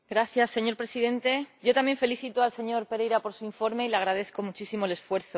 Señor Presidente, yo también felicito al señor Pereira por su informe y le agradezco muchísimo el esfuerzo.